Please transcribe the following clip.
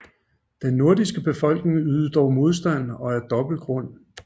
Den nordiske befolkning ydede dog modstand og af dobbelt grund